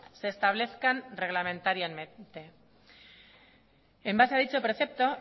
se establezcan reglamentariamente en base a dicho precepto